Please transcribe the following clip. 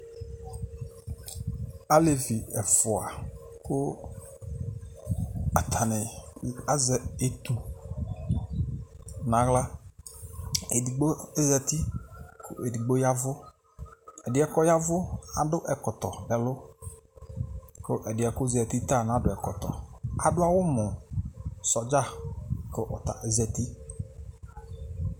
Alevi ɛfua kʋ atani azɛ etu n'aɣlaEdigbo ozati, edigbo yavʋƐdiɛ kɔyavʋ, adʋ ɛkɔtɔ nɛlʋKʋ ɛdiɛ kozati ta nadu ɛkɔtɔAdʋ awu mu sɔdza , kʋ ɔya ozati